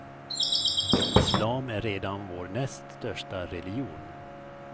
Islam är redan vår näst största religion.